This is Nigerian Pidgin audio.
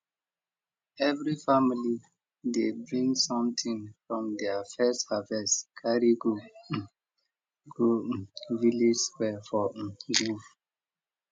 every family dey bring smething from their first harvest carry go um go um village square for um groove